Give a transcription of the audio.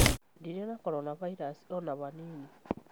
Ndirĩ na corona virus o na hanini.